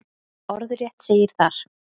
Orðrétt segir þar: